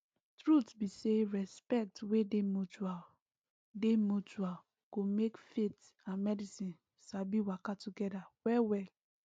truth be say respect wey dey mutual dey mutual go make faith and medicine sabi waka together wellwell